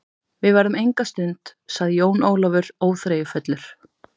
Við verðum enga stund, sagði Jón Ólafur óþreyjufullur.